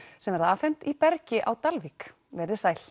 sem verða afhent í Bergi á Dalvík verið þið sæl